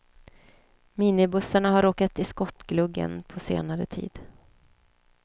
Minibussarna har råkat i skottgluggen på senare tid.